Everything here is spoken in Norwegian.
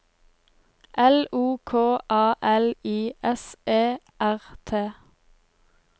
L O K A L I S E R T